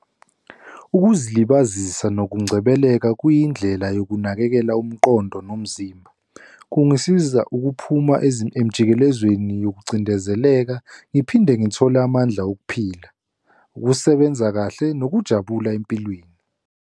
Ukuzilibazisa nokungcebeleka kuyindlela yokunakekela umqondo nomzimba. Kungisiza ukuphuma emjikelezweni yokucindezeleka. Ngiphinde ngithole amandla wokuphila, ukusebenza kahle nokujabula empilweni.